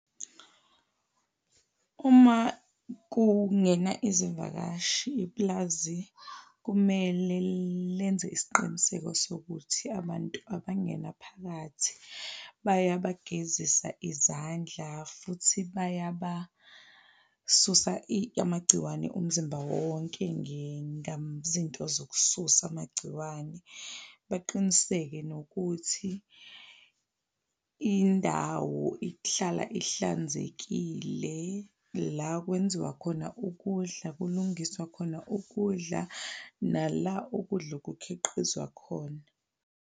Uma kungena izivakashi, ipulazi kumele lenze isiqiniseko sokuthi abantu abangena phakathi bayabagezisa izandla futhi bayabasusa amagciwane umzimba wonke ngezinto zokususa amagciwane. Baqiniseke nokuthi indawo ihlala ihlanzekile, la kwenziwa khona ukudla, kulungiswa khona ukudla, nala ukudla okukhiqizwa khona.